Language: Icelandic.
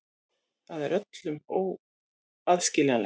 Það er öllum óskiljanlegt.